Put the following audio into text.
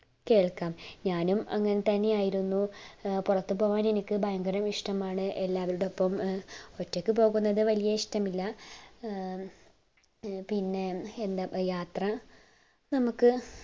കേൾക്കാം ഞാനും അങ്ങനെ തന്നേയായിരുന്നു പുറത്തു പോവാൻ എനിക്ക് ഭയങ്കര ഇഷ്ടം ആണ് എല്ലാരോടപ്പം ഒറ്റക് പോകുന്നത് വലിയ ഇഷ്ടമില്ല ഏർ പിന്നെ ന്താ യാത്ര നമ്മുക്